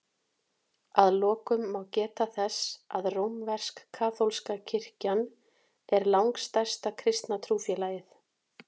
Að lokum má geta þess að rómversk-kaþólska kirkjan er langstærsta kristna trúfélagið.